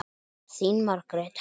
Þín Margrét Helga.